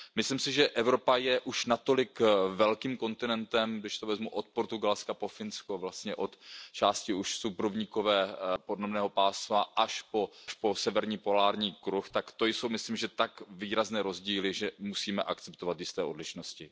Myslím si, že Evropa je už natolik velkým kontinentem, když to vezmu od Portugalska po Finsko, vlastně od části už subrovníkového podnebného pásma až po severní polární kruh, tak to jsou, myslím, že tak výrazné rozdíly, že musíme akceptovat jisté odlišnosti.